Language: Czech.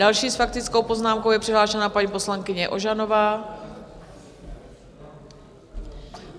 Další s faktickou poznámkou je přihlášená paní poslankyně Ožanová.